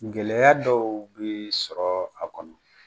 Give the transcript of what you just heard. Gɛlɛya dɔw bee sɔrɔ a kɔnɔ.